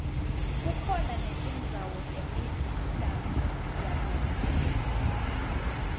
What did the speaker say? kukhona netindzawo temidanso yakusihlwa